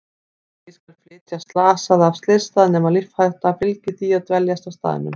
Ekki skal flytja slasaða af slysstað nema lífshætta fylgi því að dveljast á staðnum.